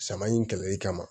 Sama in kɛlɛli kama